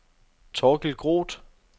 Thorkild Groth